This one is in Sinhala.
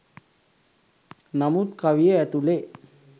නමුත් කවිය ඇතුළෙ